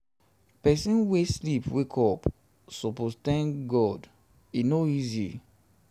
pesin wey sleep wake up suppose tank god e no easy.